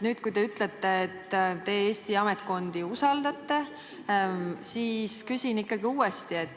Nüüd, kui te ütlete, et teie Eesti ametkondi usaldate, siis ma küsin uuesti.